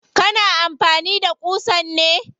Kana amfani da ƙusan ne?